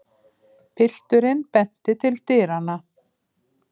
Pilturinn benti til dyranna.